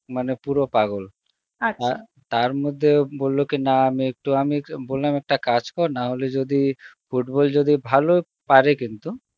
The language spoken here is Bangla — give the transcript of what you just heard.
মানে পুরো পাগল তার মধ্যে বলল কি না আমি এক~ বললাম একটা কাজ কর নাহলে যদি, football যদি ভালো পারে কিন্তু